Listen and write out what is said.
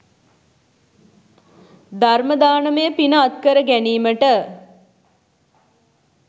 ධර්ම දානමය පින අත් කර ගැනීමට